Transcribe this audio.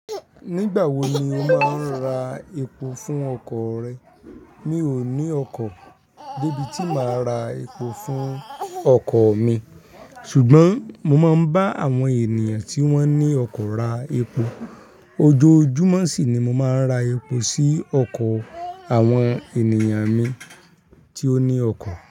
Nígbà wo ni o máa ń ra epo fún ọkọ̀ rẹ? Mi ò ní ọkọ̀ debi tí màá ra epo fún ọkọ̀ mi. Ṣùgbọ́n mo máa ń bá àwọn ènìyàn tí wón ní ọkọ̀ ra epo. Ojoojúmọ́ sì ni mo máa ń ra epo sí ọkọ̀ àwọn ènìyàn mi tí ó ní ọkọ̀.